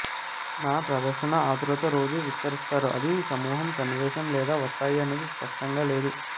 న ప్రదర్శన ఆతురత రోజు విస్తరిస్తారు ఇది సమూహం సన్నివేశం లేదా వస్తాయి అనేది స్పష్టంగా లేదు